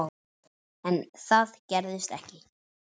En það gerðist ekki.